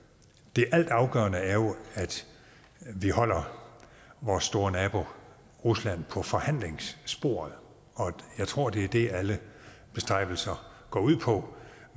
det altafgørende er jo at vi holder vores store nabo rusland på forhandlingssporet og jeg tror at det er det alle bestræbelser går ud på